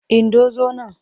Indo zo nan!